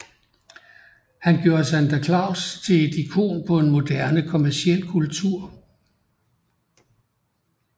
Han gjorde Santa Claus til et ikon på en moderne kommerciel kultur